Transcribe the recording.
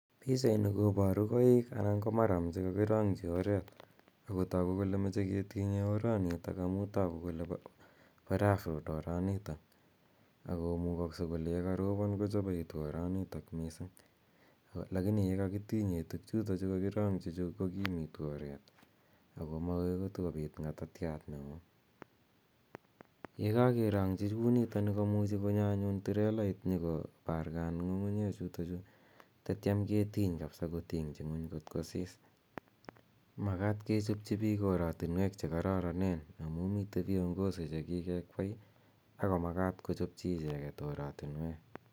Pichaini koparu koiik anan ko maram che kakirang'chi oreet ako tagu kole mache ketinye oranitok amu tagu kole pa rough road oranitok ako mugakse kole ye karopon kochapaitu oranitok missing' lakini ye kakitinye tugchutachu kakirang'chi chu ko kimitu oret ako makoi kotukopit ng'atatiat ne oo. Ye kakerang'chi kou nitani komuchi konyo anyun trelait nyu ko pargan ng'ung'uchechutachu tatiam ketiny kapisa keting'chi ng'uny kot ko sis. Makat ke chopchi piik oratinweek che kararanen amu mitei viongozi che kikekwei ako makata kochopchi icheget oratinweek.